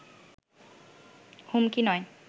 হুমকি নয়